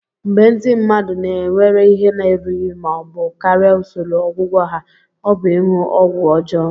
Mgbe ndị mmadụ na-ewere ihe na-erughị ma ọ bụ karịa usoro ọgwụgwọ ha, ọ bụ ịṅụ ọgwụ ọjọọ.